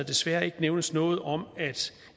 desværre ikke nævnes noget om at